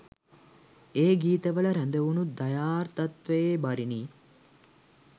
ඒ ගීතවල රැඳවුනු දයාර්දත්වයේ බරිනි